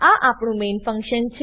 આ આપણું main function છે